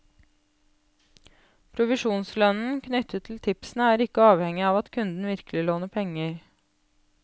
Provisjonslønnen knyttet til tipsene er ikke avhengige av at kunden virkelig låner penger.